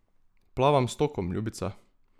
Plavam s tokom, ljubica.